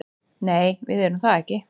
Nei, við erum það ekki